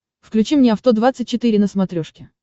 включи мне авто двадцать четыре на смотрешке